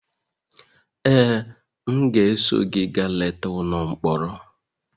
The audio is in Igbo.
Ee, m ga-eso gị gaa leta ụlọ mkpọrọ.